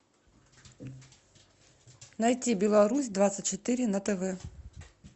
найти беларусь двадцать четыре на тв